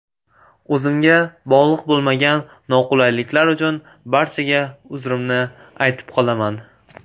O‘zimga bog‘liq bo‘lmagan noqulayliklar uchun barchaga uzrimni aytib qolaman.